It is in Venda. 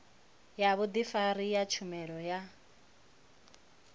ya vhudifari ya tshumelo ya